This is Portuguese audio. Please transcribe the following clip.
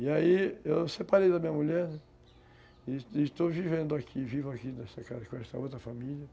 E aí eu separei da minha mulher, né, e e estou vivendo aqui, vivo aqui nessa casa com essa outra família.